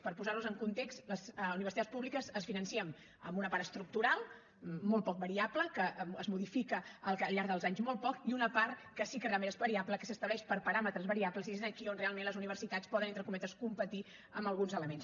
per posar los en context les universitats públiques es financen amb una part estructural molt poc variable que es modifica al llarg dels anys molt poc i una part que sí que realment és variable que s’estableix per paràmetres variables i és aquí on realment les universitats poden entre cometes competir amb alguns elements